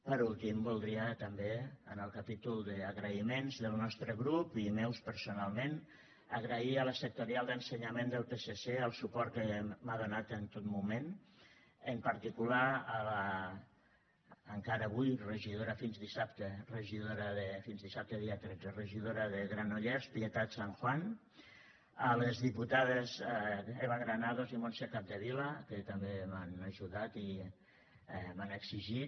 per últim voldria també en el capítol d’agraïments del nostre grup i meus personalment agrair a la sectorial d’ensenyament del psc el suport que m’ha donat en tot moment en particular a l’encara avui regidora fins dissabte dia tretze regidora de granollers pietat sanjuán a les diputades eva granados i montse capdevila que també m’han ajudat i m’han exigit